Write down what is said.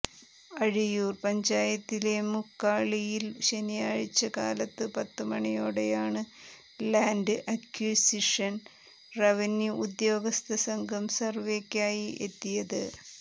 അഴിയൂർ പഞ്ചായത്തിലെ മുക്കാളിയിൽ ശനിയാഴ്ച്ച കാലത്ത് പത്ത് മണിയോടെയാണ് ലാൻഡ് അക്വസിഷൻ റവന്യു ഉദ്യോഗസ്ഥസംഘം സർവ്വെക്കായി എത്തിയത്